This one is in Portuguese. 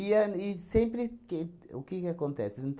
E an e sempre que... O que que acontece?